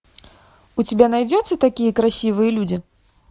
у тебя найдется такие красивые люди